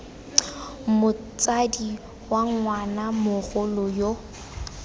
motsadi wa ngwana mogolo yo